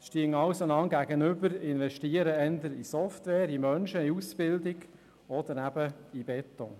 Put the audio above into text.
Es stehen sich also gegenüber: eher in Software, also in Menschen, in Ausbildung zu investieren oder eben in Beton.